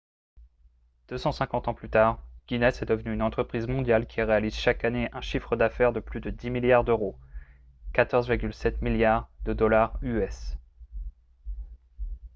250 ans plus tard guinness est devenue une entreprise mondiale qui réalise chaque année un chiffre d'affaires de plus de 10 milliards d'euros 14,7 milliards de dollars us